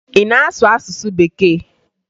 Ị na-asụ asụsụ Bekee?